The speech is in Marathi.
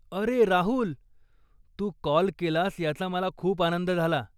अरे राहुल! तू काॅल केलास याचा मला खूप आनंद झाला.